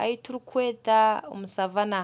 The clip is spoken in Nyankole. ahi turi kweta omu Savana.